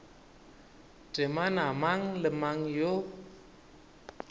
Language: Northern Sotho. temana mang le mang yo